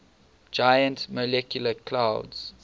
giant molecular clouds